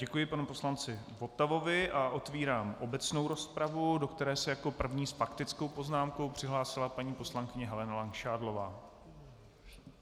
Děkuji panu poslanci Votavovi a otvírám obecnou rozpravu, do které se jako první s faktickou poznámkou přihlásila paní poslankyně Helena Langšádlová.